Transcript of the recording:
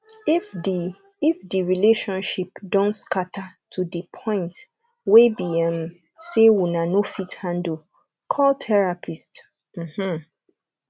if di if di relationship don scatter to di point wey be um sey una no fit handle call therapist um